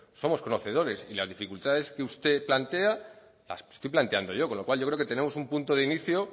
somos conocedores y las dificultades que usted plantea las estoy planteando yo con lo cual yo creo que tenemos un punto de inicio